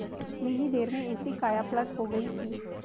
इतनी ही देर में ऐसी कायापलट हो गयी कि